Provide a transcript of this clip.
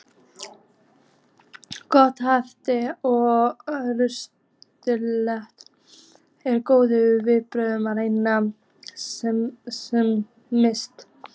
Gott næringarástand og heilsufar er góð vörn gegn smiti.